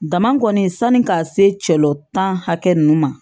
Dama kɔni sanni ka se cɛ hakɛ ninnu ma